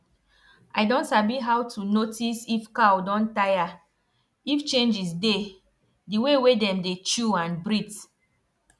i don sabi how to notice if cow don tire if changes dey d way wey dem dey chew and breathe